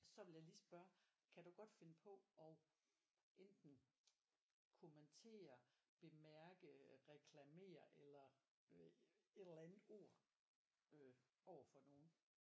Så vil jeg lige spørge kan du godt finde på og enten kommentere bemærke reklamere eller øh et eller andet ord øh overfor nogen